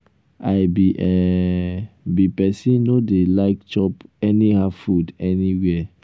i be um be um person no dey like chop anyhow food um anywhere.